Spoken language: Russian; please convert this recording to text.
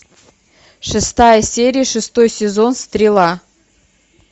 шестая серия шестой сезон стрела